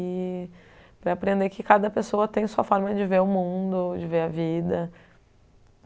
E para aprender que cada pessoa tem sua forma de ver o mundo, de ver a vida.